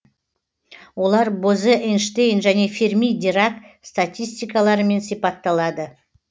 олар бозе эйнштейн және ферми дирак статистикаларымен сипатталады